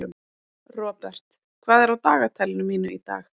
Robert, hvað er á dagatalinu mínu í dag?